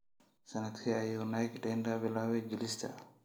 Sanadkee ayuu Nick Denda bilaabay jilista?